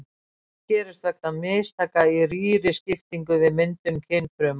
Slíkt gerist vegna mistaka í rýriskiptingu við myndun kynfrumna.